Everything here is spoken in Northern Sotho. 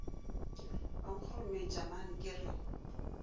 wa nkgorometša man ke re